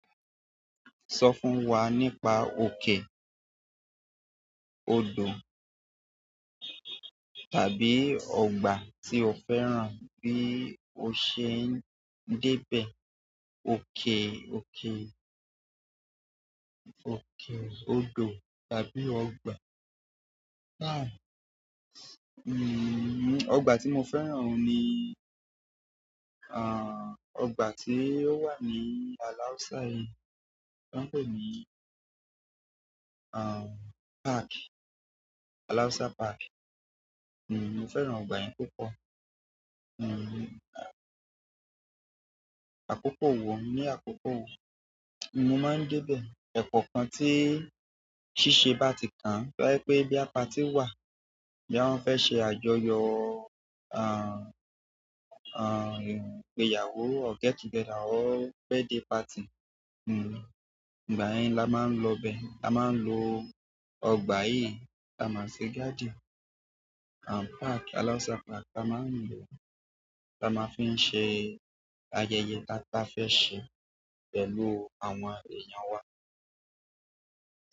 Sọ fún wa nípa òkè, odò tàbí ọgbà tí o fẹ́ràn bí o ṣe ń débẹ̀ oke, òkè, òkè, odò tàbí ọgbà. Aah! Mm, ọgbà tí mo fẹ́ràn oun ni, aah, ọgbà tí ó wà ní Alausa yìí, tọ́n ń pè ní, aah, park, Alausa Park. Mm, mo fẹ́ràn ọgbà yẹn púpọ̀. Mm, àkókò wo ní àkókò wo? Mo máa ń débẹ̀ ẹ̀koọ̀kan tí ṣíṣe bá ti kàn an. Tó bá jẹ́ pé bóyá párty wà, bóyá wọn fẹ́ ṣe àjọyọ̀, aah, aah, ìgbéyàwó or get together or birthday party. Mm, ìgbà yẹn la máa ń lọ bẹ̀. La máa ń lò ọgbà yìí. La máa ń ṣe garden and park, Alausa Park. La máa ń lò o, la máa fi ń ṣe ayẹyẹ ta bá fẹ́ ṣe pẹ̀lú àwọn èèyàn wa.